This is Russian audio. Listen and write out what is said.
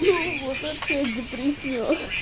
ну вот опять депресняк